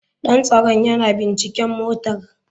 Dan tsaron yana binciken motara.